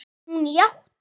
Hún játti.